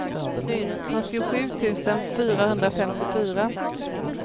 fyrtiosju tusen fyrahundrafemtiofyra